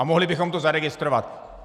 A mohli bychom to zaregistrovat.